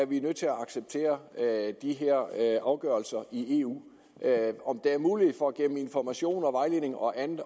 vi nødt til acceptere de her afgørelser i eu om der er mulighed for gennem information og vejledning og andet